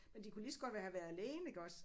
Men de kunne lige så godt have været alene iggås